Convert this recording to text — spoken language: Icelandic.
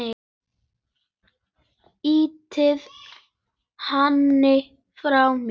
Ýti henni frá mér.